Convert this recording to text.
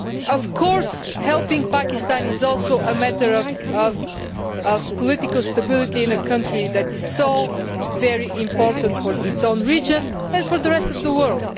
Of course, helping Pakistan is also a matter of political stability in a country that is so very important for its own region and for the rest of the